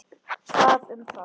Það um það.